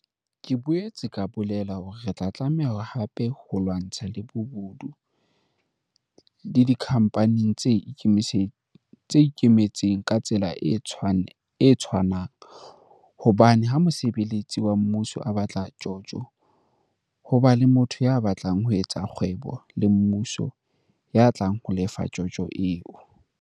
Ke boetse ka bolela hore re tla tlameha hape ho lwantsha le bobodu le dikhampaneng tse ikemetseng ka tsela e tshwanang hobane ha mosebeletsi wa mmuso a batla tjotjo, ho ba le motho ya batlang ho etsa kgwebo le mmuso ya tlang ho lefa tjotjo eo.